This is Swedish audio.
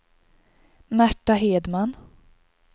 Märta Hedman